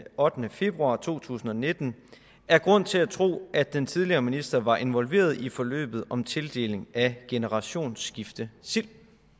ottende februar to tusind og nitten er grund til at tro at den tidligere minister var involveret i forløbet om tildeling af generationsskiftesild